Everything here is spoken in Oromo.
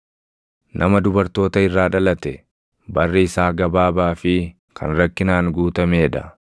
“Nama dubartoota irraa dhalate, barri isaa gabaabaa fi kan rakkinaan guutamee dha.